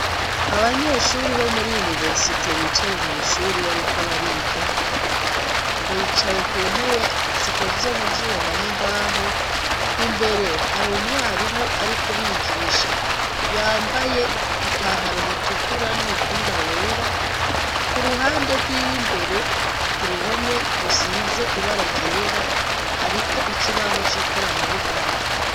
Abanyeshuri bo muri yuniversite bicaye mw'ishuri bariko bariga bicaye ku ntebe zikoze mu vyuma n'imbaho imbere hari umwarimu ari kubigisha yambaye ipantaro ritukura n'umupira wera ku ruhande rwiwe imbereo ku ruhome rusize ibararyera hariko ikibaho c'ikorana buhanga.